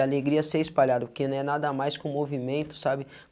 A alegria de ser espalhada, porque não é nada mais com o movimento, sabe?